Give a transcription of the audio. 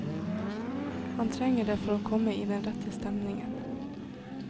Han trenger det for å komme i den rette stemningen.